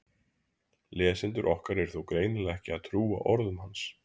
Lesendur okkar eru þó greinilega ekki að trúa orðum hans!